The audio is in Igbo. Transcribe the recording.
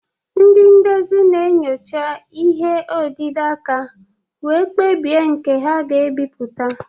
Ndị ndezi na-enyocha ihe odide aka wee kpebie nke ha ga-ebipụta.